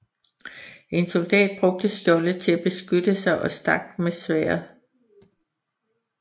En soldat brugte skjoldet til at beskytte sig og stak med sværdet